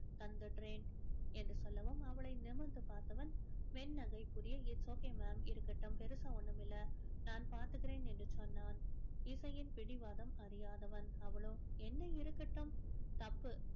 தந்துடுறேன் என்று சொல்லவும் அவளை நிமிர்ந்து பார்த்தவன் மென்னகை புரிய it's okay ma'am இருக்கட்டும் பெருசா ஒண்ணும் இல்லை நான் பாத்துக்கிறேன் என்று சொன்னான் இசையின் பிடிவாதம் அறியாதவன் அவளோ என்ன இருக்கட்டும் தப்பு